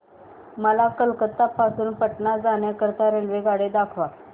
मला कोलकता पासून पटणा जाण्या करीता रेल्वेगाड्या दाखवा